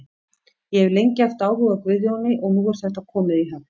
Ég hef lengi haft áhuga á Guðjóni og nú er þetta komið í höfn.